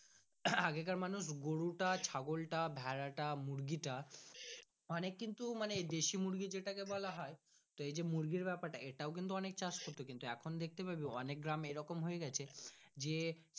আগে কার মানুষ গরু টা ছাগলটা ভাড়া তা মুরগি টা অনেক কিন্তু দেশি মুরগি যেটাকে বলা হয় এই যে মুরগি ব্যাপারে টা এটাও কিন্তু অনেক তা চাষ হতো এখন দেখতে পাবি অনেক গ্রামে এই রকম হয়ে আছে যে।